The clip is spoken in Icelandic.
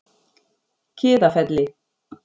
Kiðafelli